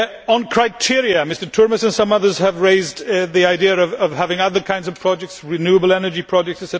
On criteria, Mr Turmes and some others have raised the idea of having other kinds of projects, such as renewable energy projects.